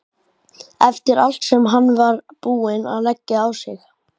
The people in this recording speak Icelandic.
Eftir allt sem hann var búinn að leggja á sig!